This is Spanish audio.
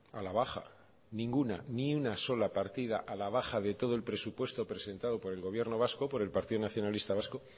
a la baja ninguna ni una sola partida a la baja de todo el presupuesto presentado por el gobierno vasco por el partido nacionalista vasco